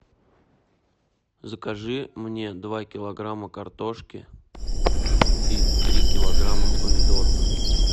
закажи мне два килограмма картошки и три килограмма помидоров